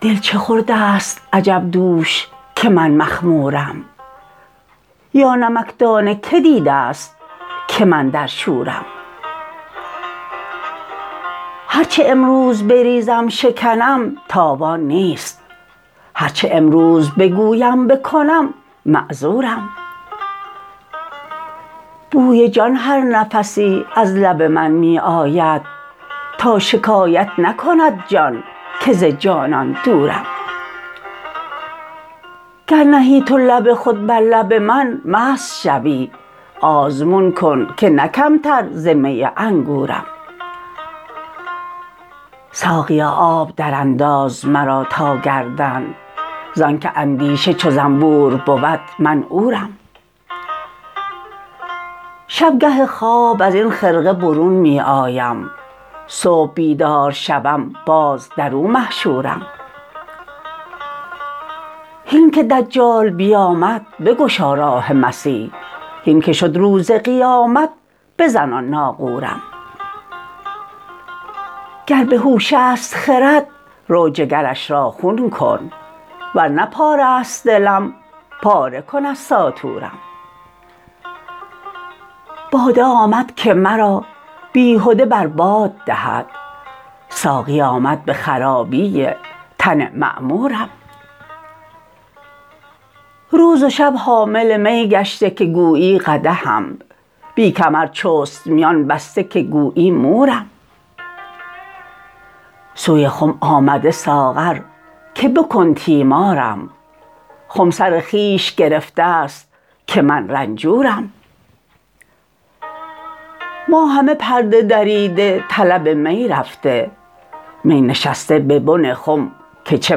دل چه خورده ست عجب دوش که من مخمورم یا نمکدان کی دیده ست که من در شورم هر چه امروز بریزم شکنم تاوان نیست هر چه امروز بگویم بکنم معذورم بوی جان هر نفسی از لب من می آید تا شکایت نکند جان که ز جانان دورم گر نهی تو لب خود بر لب من مست شوی آزمون کن که نه کمتر ز می انگورم ساقیا آب درانداز مرا تا گردن زانک اندیشه چو زنبور بود من عورم شب گه خواب از این خرقه برون می آیم صبح بیدار شوم باز در او محشورم هین که دجال بیامد بگشا راه مسیح هین که شد روز قیامت بزن آن ناقورم گر به هوش است خرد رو جگرش را خون کن ور نه پاره ست دلم پاره کن از ساطورم باده آمد که مرا بیهده بر باد دهد ساقی آمد به خرابی تن معمورم روز و شب حامل می گشته که گویی قدحم بی کمر چست میان بسته که گویی مورم سوی خم آمده ساغر که بکن تیمارم خم سر خویش گرفته ست که من رنجورم ما همه پرده دریده طلب می رفته می نشسته به بن خم که چه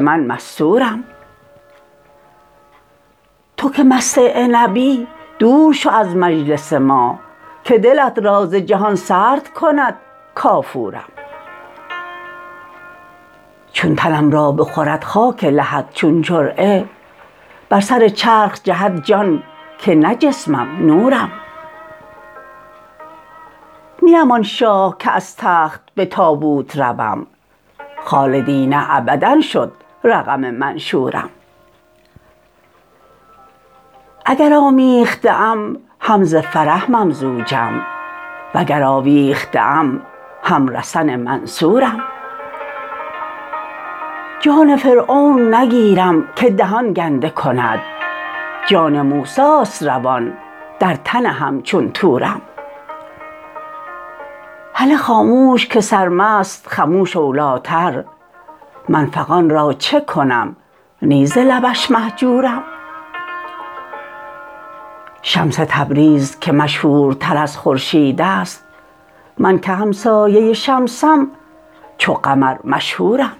من مستورم تو که مست عنبی دور شو از مجلس ما که دلت را ز جهان سرد کند کافورم چون تنم را بخورد خاک لحد چون جرعه بر سر چرخ جهد جان که نه جسمم نورم نیم آن شاه که از تخت به تابوت روم خالدین ابدا شد رقم منشورم اگر آمیخته ام هم ز فرح ممزوجم وگر آویخته ام هم رسن منصورم جام فرعون نگیرم که دهان گنده کند جان موسی است روان در تن همچون طورم هله خاموش که سرمست خموش اولیتر من فغان را چه کنم نی ز لبش مهجورم شمس تبریز که مشهورتر از خورشید است من که همسایه شمسم چو قمر مشهورم